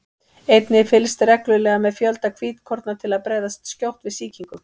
einnig er fylgst reglulega með fjölda hvítkorna til að bregðast skjótt við sýkingum